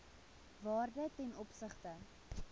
waarde ten opsigte